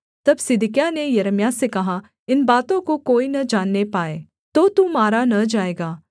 तब सिदकिय्याह ने यिर्मयाह से कहा इन बातों को कोई न जानने पाए तो तू मारा न जाएगा